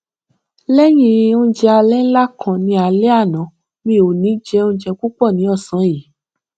léyìn oúnjẹ alẹ ńlá kan ní álé àná mi ò ní jẹ oúnjẹ púpọ ní ósàn yìí